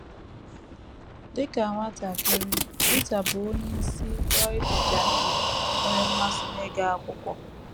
Dị ka nwatakịrị, Rita, bụ́ onye si Rio de Janeiro, nwere mmasị n’ịga akwụkwọ.